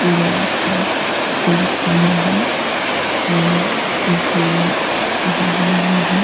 बड़ा सा पक्षी दिख रहा है और झूले लगे हुए हैं।